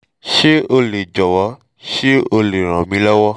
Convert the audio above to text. ṣé o lè jọ̀wọ́ ṣé o lè ràn mí lọ́wọ́?